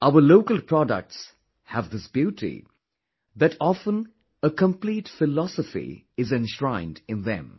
Our local products have this beauty that often a complete philosophy is enshrined in them